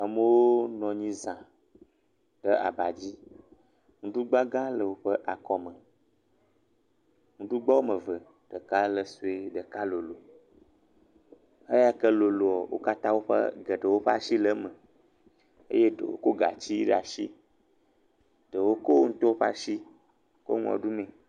Amewo nɔ anyi za, ɖe aba dzi, nuɖugba gã le woƒe akɔ me, nuɖugba woame eve, ɖeka le sɔe, ɖeka lolo, eya ke loloa, wo katã woƒe, geɖewo ƒe asi le eme eye ɖewo kɔ gatsi ɖe asi, ɖewo kɔ woawo ŋutɔ ƒe asi le nua ɖumee.